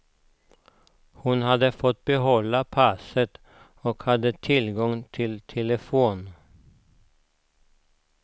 Hon hade fått behålla passet och hade tillgång till telefon.